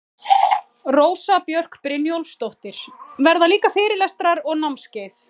Rósa Björk Brynjólfsdóttir: Verða líka fyrirlestrar og námskeið?